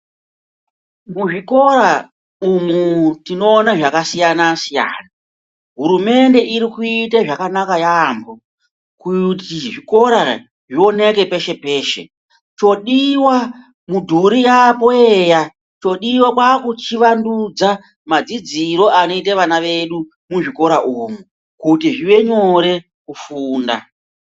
Muzvikora umumu tinoona zvakasiyana-siyana, hurumende iri kuite zvakanaka yaambo. Kuti zvikora zvioneke peshe-peshe, chodiva midhuri yapo eya. Chodiva kwakuchivandudza madzidziro anoita vana vedu muzvikora umu, kuti zvive nyore kufunda.